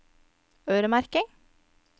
øremerking